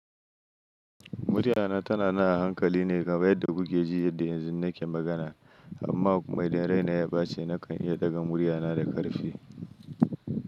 Muryana tana na hankali ne kamar yadda kuke ji yadda yanzu nake magana, amma kuma idan rai na ya baci nakan iya ɗaga muryana da ƙarfi.